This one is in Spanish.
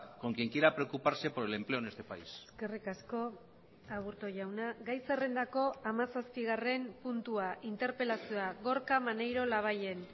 con quien quiera preocuparse por el empleo en este país eskerrik asko aburto jauna gai zerrendako hamazazpigarren puntua interpelazioa gorka maneiro labayen